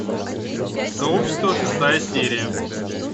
сообщество шестая серия